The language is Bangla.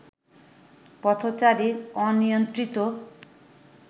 পথচারীর অনিয়ন্ত্রিত